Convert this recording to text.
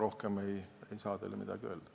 Rohkem ei saa ma teile kahjuks midagi öelda.